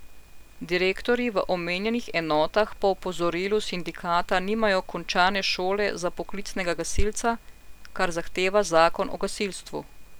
Direktorji v omenjenih enotah po opozorilu sindikata nimajo končane šole za poklicnega gasilca, kar zahteva zakon o gasilstvu.